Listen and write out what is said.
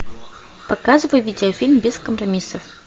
показывай видеофильм без компромиссов